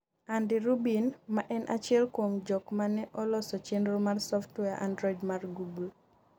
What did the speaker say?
Andy Rubin, ma en achiel kuom jok mane oloso chenro mar Software Android mar Google